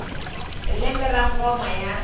hi lembe ra ngoma ya